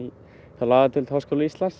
hjá lagadeild Háskóla Íslands